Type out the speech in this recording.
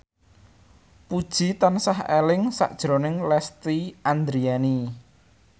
Puji tansah eling sakjroning Lesti Andryani